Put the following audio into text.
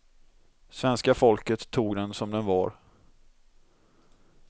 Svenska folket tog den som den var.